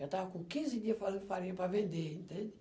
Já estava com quinze dia fazendo farinha para vender, entende?